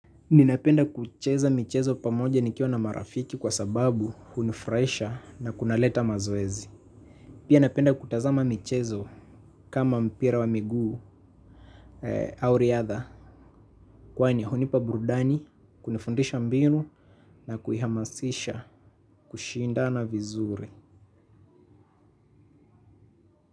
Ninapenda kucheza michezo pamoja nikiwa na marafiki kwa sababu hunifurahisha na kunaleta mazoezi. Pia napenda kutazama michezo kama mpira wa miguu au riadha. Kwani hunipa burudani, kunifundisha mbinu na kuihamasisha kushindana vizuri.